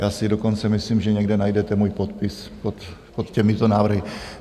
Já si dokonce myslím, že někde najdete můj podpis pod těmito návrhy.